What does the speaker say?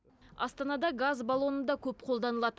астанада газ баллоны да көп қолданылады